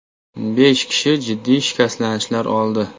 Besh kishi jiddiy shikastlanishlar oldi.